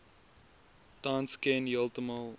tans ken heeltemal